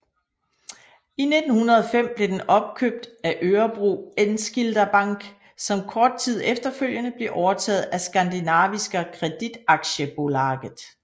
I 1905 blev den opkøbt af Örebro enskilda bank som kort tid efterfølgende blev overtaget af Skandinaviska Kreditaktiebolaget